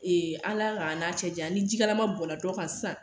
Ala k'an n'a cɛ janya, ni jikalama bɔn dɔ kan sisan